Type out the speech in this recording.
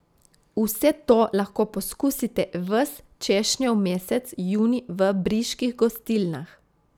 Vse to lahko poskusite ves češnjev mesec junij v briških gostilnah.